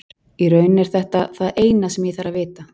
Í raun er þetta það eina sem ég þarf að vita.